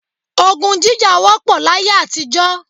Ogun jíjà wọ́pọ̀ láyé àtijọ́